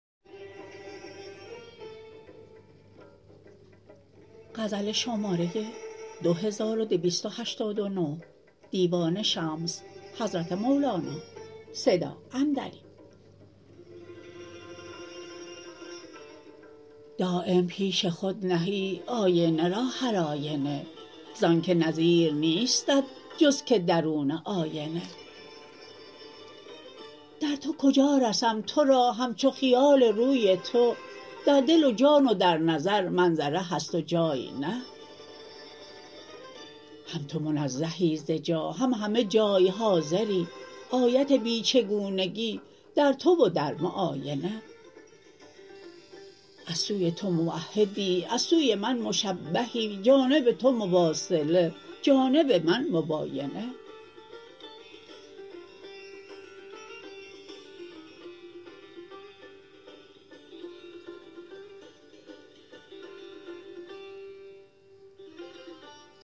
دایم پیش خود نهی آینه را هرآینه ز آنک نظیر نیستت جز که درون آینه در تو کجا رسم تو را همچو خیال روی تو در دل و جان و در نظر منظره هست و جای نه هم تو منزهی ز جا هم همه جای حاضری آیت بی چگونگی در تو و در معاینه از سوی تو موحدی از سوی من مشبهی جانب تو مواصله جانب من مباینه